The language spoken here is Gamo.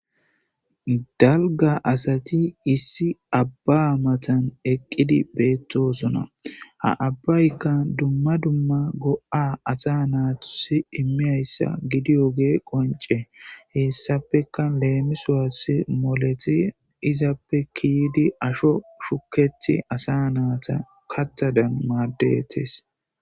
Dalga asati issi abba amatan eqqidi beettosona ha abbaykka dumma dumma go7a asa naatusi immiyayssa gidiyoge qonce heessapeka leemisuwassi moleti izappe kiidi asho shuketi asa naata kattadan maaddetes.